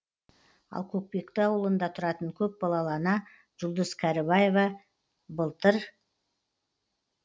ал көкпекті ауылында тұратын көпбалалы ана жұлдыз кәрібаева былтыр